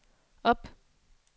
op